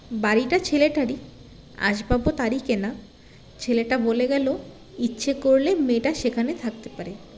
বাড়িটা ছেলেটারই আসবাব ও তারই কেনা ছেলেটা বলে গেলো ইচ্ছে করলে মেয়েটা সেখানে থাকতে পারে